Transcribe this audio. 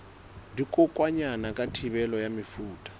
dikokwanyana ka thibelo ya mefuta